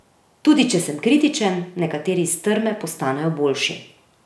Tudi če sem kritičen, nekateri iz trme postanejo boljši.